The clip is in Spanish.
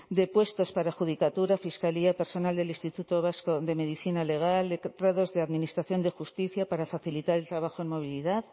de puestos para adjudicatura fiscalía personal del instituto vasco de medicina legal letrados de administración de justicia para facilitar el trabajo en movilidad